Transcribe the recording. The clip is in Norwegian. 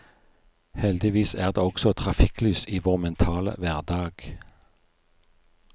Heldigvis er det også trafikklys i vår mentale hverdag.